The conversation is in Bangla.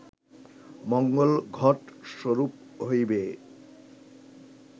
মঙ্গল ঘট স্বরূপ হইবে